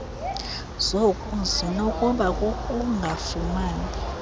zoku zinokuba kukungafumani